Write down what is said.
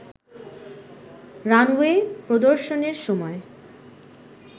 runway প্রদর্শনের সময়